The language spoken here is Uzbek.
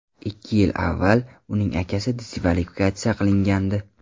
Ikki yil avval uning akasi diskvalifikatsiya qilingandi.